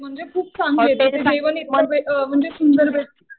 म्हणजे खूप चांगले आहेत. तिथे जेवण इतकं म्हणजे सुंदर भेटतं.